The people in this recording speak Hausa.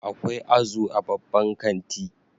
Akwai azu a babban kanti